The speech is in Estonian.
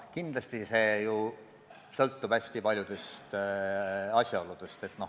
Kindlasti sõltub see hästi paljudest asjaoludest.